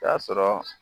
Taa sɔrɔ